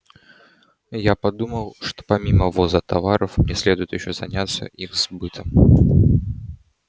я подумал что помимо ввоза товаров мне следует ещё заняться их сбытом